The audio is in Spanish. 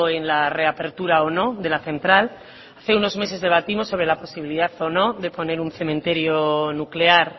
en la reapertura o no de la central hace unos meses debatimos sobre la posibilidad o no de poner un cementerio nuclear